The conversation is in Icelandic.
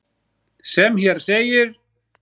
sem hér segir